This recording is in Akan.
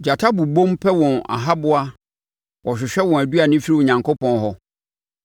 Gyata bobom pɛ wɔn ahaboa wɔhwehwɛ wɔn aduane firi Onyankopɔn hɔ.